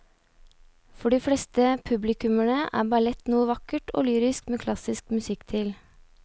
For de fleste publikummere er ballett noe vakkert og lyrisk med klassisk musikk til.